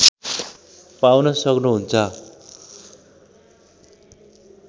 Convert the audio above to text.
पाउन सक्नु हुन्छ